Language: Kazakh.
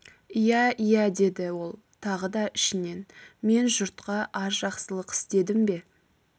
иә-иә деді ол тағы да ішінен мен жұртқа аз жақсылық істедім бе